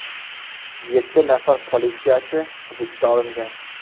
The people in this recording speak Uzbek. Yetti nafar politsiyachi hibsga olingan.